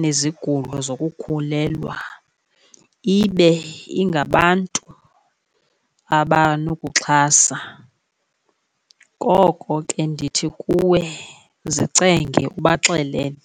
nezigulo zokukhulelwa, ibe ingabantu abanokuxhasa. Ngoko ke ndithi kuwe zicenge ubaxelele.